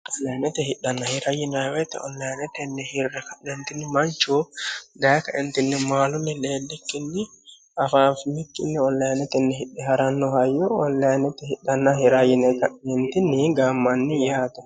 Onlinete hidhana hirate yinanni woyiite onlineteni hirre ka'ne Manchu dayee maalunni leellikkini onlineteni hidhano hayyo onlinete hiranna hidha yine gaammanni yaate.